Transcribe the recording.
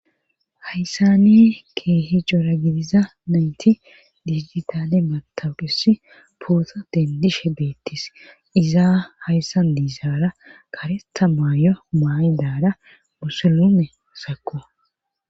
Hayssani keehi cora gidiza nayti digitale batawuqusi poosa dendishe beettis izaa hayssan diizaara kareta maayo maay daara musulume sako.